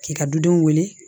K'i ka dudenw wele